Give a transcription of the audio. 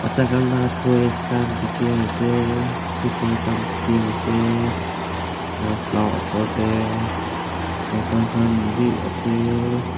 tai khan lah toys khan dikhi ase scooter khan dikhi ase shelf lah upar teh cycle khan bhi ase.